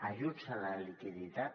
ajuts a la liquiditat